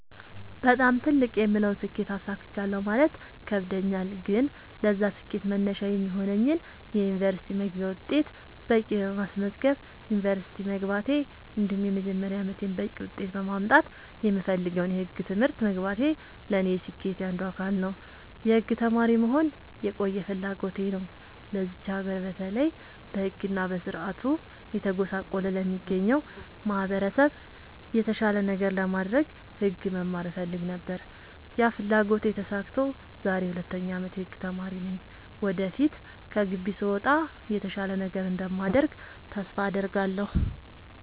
በጣም ትልቅ የምለውን ስኬት አሳክቻለሁ ማለት ይከብደኛል። ግን ለዛ ስኬት መነሻ የሚሆነኝን የ ዩኒቨርስቲ መግቢያ ውጤት በቂ በማስመዝገብ ዩንቨርስቲ መግባቴ እንዲሁም የመጀመሪያ አመቴን በቂ ውጤት በማምጣት የምፈልገውን የህግ ትምህርት መግባቴ ለኔ የስኬቴ አንዱ አካል ነው። የህግ ተማሪ መሆን የቆየ ፍላጎቴ ነው ለዚች ሀገር በተለይ በህግ እና በስርዓቱ እየተጎሳቆለ ለሚገኘው ማህበረሰብ የተሻለ ነገር ለማድረግ ህግ መማር እፈልግ ነበር ያ ፍላጎቴ ተሳክቶ ዛሬ የ 2ኛ አመት የህግ ተማሪ ነኝ ወደፊት ከግቢ ስወጣ የተሻለ ነገር እንደማደርግ ተስፋ አድርጋለሁ።